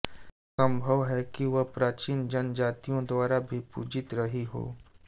सम्भव है कि यह प्राचीन जनजातियों द्वारा भी पूजित रही हो